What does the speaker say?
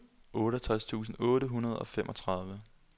otteogtres tusind otte hundrede og femogtredive